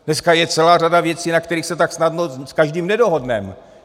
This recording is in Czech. Dneska je celá řada věcí, na kterých se tak snadno s každým nedohodneme.